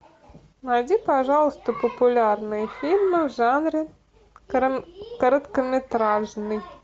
найди пожалуйста популярные фильмы в жанре короткометражный